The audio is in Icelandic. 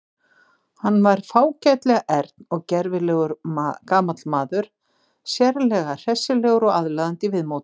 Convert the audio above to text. Hann var fágætlega ern og gervilegur gamall maður, sérlega hressilegur og aðlaðandi í viðmóti.